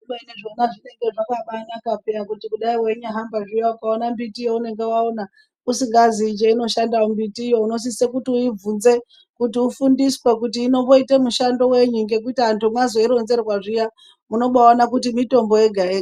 Kubeni zvona zvinenge zvakambanaka piya kuti kudai weinyahamba zviya ukaona mbiti yaunenge waona, usingaziyi cheinoshanda mbitiyo unosise kuti uibvunze ,kuti ufundiswe kuti inomboite mishando wenyi ?Ngekuti antu mwazoironzerwa zviya ,munombaona kuti mitombo yega yega.